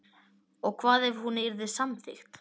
Og hvað ef hún yrði samþykkt